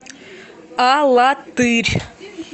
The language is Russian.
алатырь